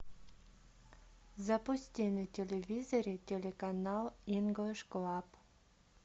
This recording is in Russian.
запусти на телевизоре телеканал инглиш клаб